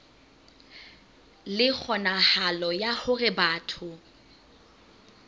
le kgonahalo ya hore batho